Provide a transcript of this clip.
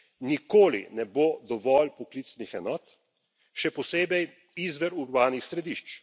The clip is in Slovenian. Nikoli ne bo dovolj poklicnih enot, še posebej izven urbanih središč.